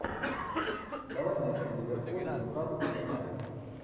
давай найдем ливерпуль ньюкасл юнайтед